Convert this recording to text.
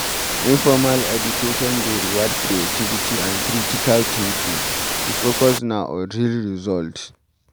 Informal education dey reward creativity and critical thinking, di focus na on real result.